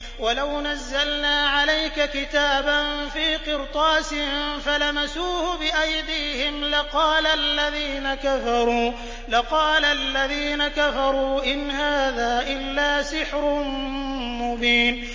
وَلَوْ نَزَّلْنَا عَلَيْكَ كِتَابًا فِي قِرْطَاسٍ فَلَمَسُوهُ بِأَيْدِيهِمْ لَقَالَ الَّذِينَ كَفَرُوا إِنْ هَٰذَا إِلَّا سِحْرٌ مُّبِينٌ